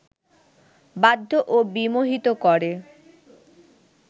বাধ্য ও বিমোহিত করে